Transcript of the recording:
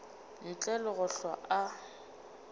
ntle le go hlwa a